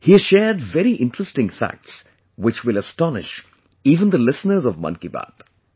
He has shared very interesting facts which will astonish even the listeners of 'Man kiBaat'